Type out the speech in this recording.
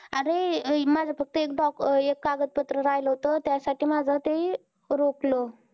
अरे, माझं फक्त एक doc अं एक कागदपत्र राहिलं होतं, त्यासाठी माझं ते रोखलं.